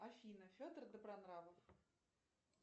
афина федор добронравов